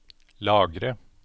lagre